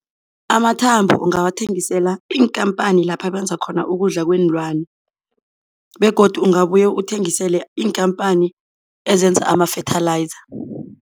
Amathambo ungawathengisela iinkhamphani lapha benza khona ukudla kweenlwana begodu ungabuye uthengisele iinkhamphani ezenza ama-fertilizer.